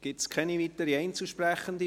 Gibt es keine weiteren Einzelsprechenden?